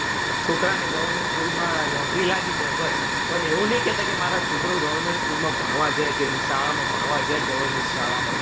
છોકરાને government school માં નોકરી લાગી જાય બસ પણ એવું નહીં ક્યે કે મારો છોકરો government school માં ભણવા જાય કે શાળામાં ભણવા જાય government શાળામાં